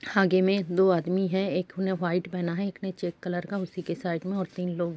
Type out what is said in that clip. आगे में दो आदमी हैं। एक ने वाइट पहना है एक ने चेक कलर का। उसी के साइड में और तीन लोग --